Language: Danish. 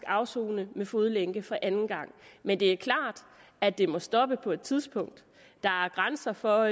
afsone med fodlænke for anden gang men det er klart at det må stoppe på et tidspunkt der er grænser for